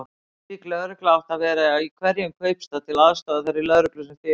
Slík lögregla átti að vera í hverjum kaupstað, til aðstoðar þeirri lögreglu sem fyrir var.